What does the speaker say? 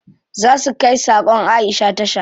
Za su kai sakon Aisha tasha.